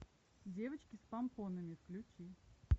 девочки с помпонами включи